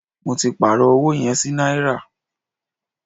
Mó tí pàárọ̀ ọwọ yẹn sí náírà.